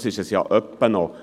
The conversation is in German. Dies ist es ja ab und zu.